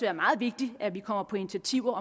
er meget vigtigt at vi kommer på initiativer